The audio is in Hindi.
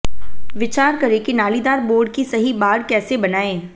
विचार करें कि नालीदार बोर्ड की सही बाड़ कैसे बनाएं